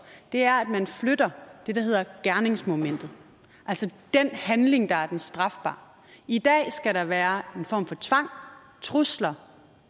er at man flytter det der hedder gerningsmomentet altså den handling der er den strafbare i dag skal der være en form for tvang trusler